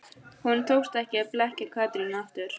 Honum tókst ekki að blekkja Katrínu aftur.